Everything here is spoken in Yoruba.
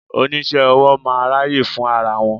Oníṣẹ́-owó máa ń ráyè fún ara wọn.